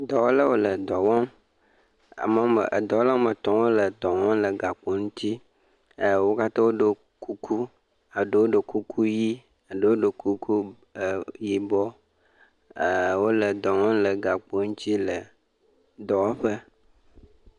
dɔwɔlawo le dɔwɔm ame ɔme dɔwɔla wɔmetɔ̃ wóle dɔ wɔm le gakpo ŋtsi e wó katã woɖó kuku eɖewo ɖó kuku yi eɖewo ɖo kuku yibɔ e wóle dɔwɔm le gakpo ŋtsi le dɔwɔƒe